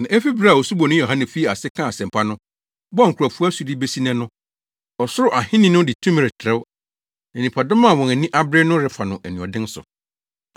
Na efi bere a Osuboni Yohane fii ase kaa asɛmpa no, bɔɔ nkurɔfo asu de besi nnɛ no, Ɔsoro Ahenni no de tumi retrɛw na nnipadɔm a wɔn ani abere no refa no anuɔden so.